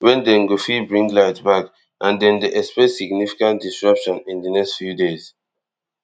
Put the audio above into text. wen dem go fit bring light back and dem dey expect significant disruption in di next few days